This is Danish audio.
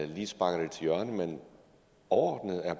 lige sparker det til hjørne men overordnet er